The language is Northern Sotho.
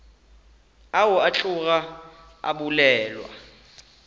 ao a tloga a bolelwa